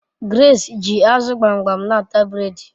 Grace ji azu gbamgbam n'ata bred